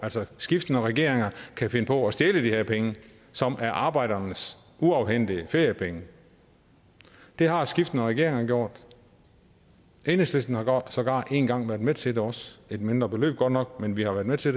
altså skiftende regeringer kan finde på at stjæle de her penge som er arbejdernes uafhentede feriepenge det har skiftende regeringer gjort enhedslisten har sågar en gang været med til det også et mindre beløb godt nok men vi har været med til